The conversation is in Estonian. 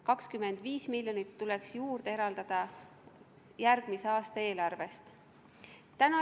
25 miljonit tuleks juurde eraldada järgmise aasta eelarvest.